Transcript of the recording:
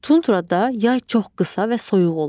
Tundrada yay çox qısa və soyuq olur.